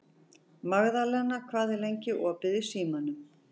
Magðalena, hvað er lengi opið í Símanum?